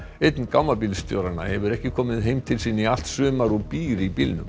einn hefur ekki komið heim til sín í allt sumar og býr í bílnum